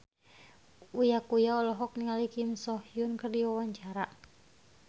Uya Kuya olohok ningali Kim So Hyun keur diwawancara